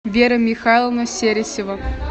вера михайловна сересева